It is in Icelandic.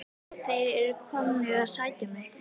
Þeir eru komnir að sækja mig.